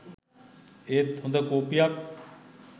ඒත් හොඳ කොපියක්